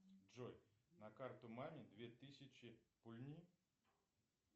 джой на карту маме две тысячи пульни